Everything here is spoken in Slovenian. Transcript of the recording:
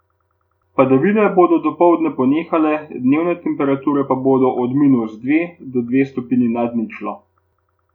Padavine bodo dopoldne ponehale, dnevne temperature pa bodo od minus dve do dve stopinji nad ničlo.